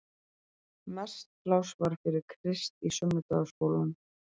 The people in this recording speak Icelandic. Mest pláss var fyrir Krist í sunnudagaskólanum.